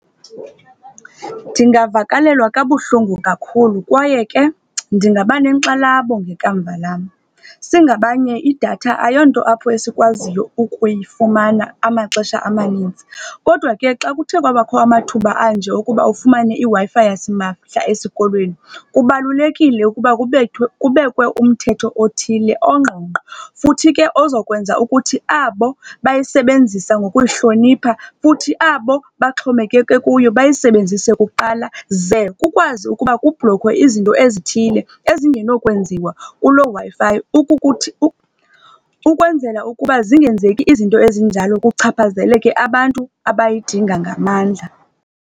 Ndingavakalelwa kabuhlungu kakhulu, kwaye ke ndingaba nenkxalabo ngekamva lam. Singabanye idatha ayonto sikwaziyo ukuyifumana amaxesha amaninzi. Kodwa ke xa kuthe kwabakho amathuba anje okuba ufumane iWi-Fi yasimahla esikolweni, kubalulekile ukuba kubethwe kubekwe umthetho othile ongqingqwa, futhi ke ozokwenza ukuthi abo bayisebenzisa ngokuyihlonipha futhi abo baxhomekeke kuyo, bayisebenzise kuqala. Ze kukwazi ukuba kubhlokhwe ezithile ezinokwenziwa kuloo Wi-Fi, ukukuthi ukwenzela ukuba zingenzeki izinto ezinjalo kuchaphazeleke abantu abayidinga ngamandla.